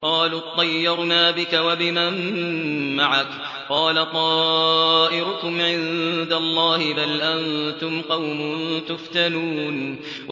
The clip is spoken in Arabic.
قَالُوا اطَّيَّرْنَا بِكَ وَبِمَن مَّعَكَ ۚ قَالَ طَائِرُكُمْ عِندَ اللَّهِ ۖ بَلْ أَنتُمْ قَوْمٌ تُفْتَنُونَ